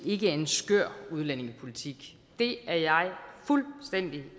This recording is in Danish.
ikke en skør udlændingepolitik det er jeg fuldstændig